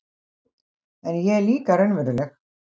En ég er líka raunveruleg